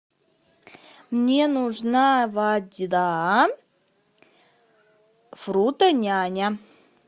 мне нужна вода фрутоняня